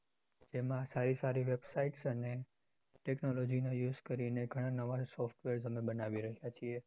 એમાં સારી સારી websites અને technology નો use ઘણા નવા software અમે બનાવી રહ્યા છીએ.